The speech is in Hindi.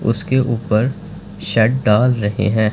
उसके ऊपर शेड डाल रहे हैं।